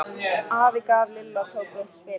Afi gaf og Lilla tók upp spilin.